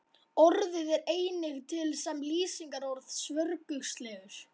Orðið er einnig til sem lýsingarorð, svörgulslegur.